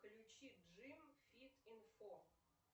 включи джим фит инфо